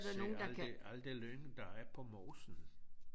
Se aldrig aldrig lyng der er på mosen